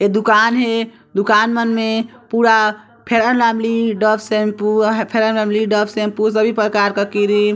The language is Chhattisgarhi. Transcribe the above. ए दुकान हे दुकान मन मे पूरा fair lovely Dove shampoo fair lovely Dove shampoo सभी प्रकार का क्रीम --